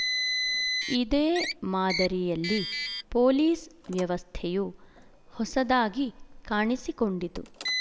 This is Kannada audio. ಇದೇ ಮಾದರಿಯಲ್ಲಿ ಪೋಲಿಸ್ ವ್ಯವಸ್ಥೆಯು ಹೊಸದಾಗಿ ಕಾಣಿಸಿಕೊಂಡಿತು